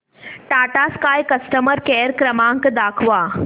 Tata Sky customer care क्रमांक दाखवा